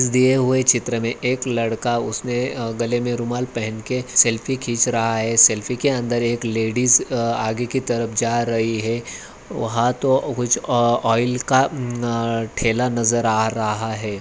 इस दिए हुए चित्र में एक लड़का उसने अं गले में रुमाल पहन के सेल्फी खिंच रहा है सेल्फी के अन्दर एक लेडीज आं आगे की तरफ जा रही है वहां तो कुछ ऑ ऑइल का अम्मन ठेला नज़र आ रहा है।